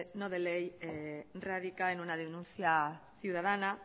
no de ley radica en una denuncia ciudadana